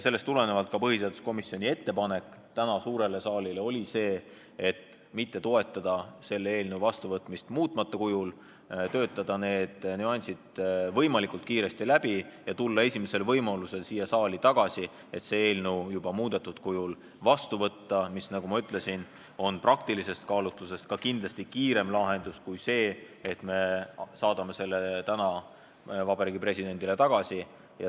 Sellest tulenevalt on põhiseaduskomisjoni ettepanek täna suurele saalile see, et mitte toetada selle seaduse vastuvõtmist muutmata kujul, töötada need nüansid võimalikult kiiresti läbi ja tulla esimesel võimalusel siia saali tagasi, et see seadus juba muudetud kujul vastu võtta, mis, nagu ma ütlesin, on praktilisest kaalutlusest lähtudes ka kindlasti kiirem lahendus kui see, et me saadame selle seaduse täna Vabariigi Presidendile tagasi.